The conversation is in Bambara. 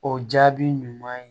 O jaabi ɲuman ye